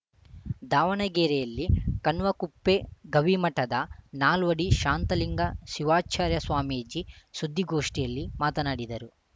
ದಾವಣಗೆರೆಯಲ್ಲಿ ಕಣ್ವಕುಪ್ಪೆ ಗವಿಮಠದ ನಾಲ್ವಡಿ ಶಾಂತಲಿಂಗ ಶಿವಾಚಾರ್ಯ ಸ್ವಾಮೀಜಿ ಸುದ್ದಿಗೋಷ್ಠಿಯಲ್ಲಿ ಮಾತನಾಡಿದರು